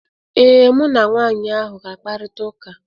Ee, mụ na nwaanyị ahụ ga-akparịta ụka.